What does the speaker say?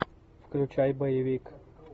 включай боевик